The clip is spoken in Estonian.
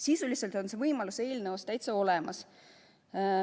Sisuliselt on see võimalus eelnõus täitsa olemas.